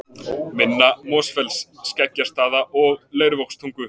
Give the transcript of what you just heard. Minna-Mosfells, Skeggjastaða og Leirvogstungu.